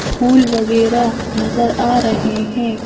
फूल वगैरा नजर आ रहे हैं।